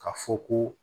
Ka fɔ ko